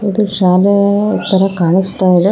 ಇದು ಶಾಲೆಯ ತರ ಕಾಣಿಸ್ತಾ ಇದೆ.